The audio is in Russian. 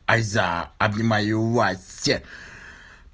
айза обнимаю власти